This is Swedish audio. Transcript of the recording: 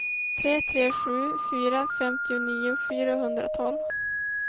tre tre sju fyra femtionio fyrahundratolv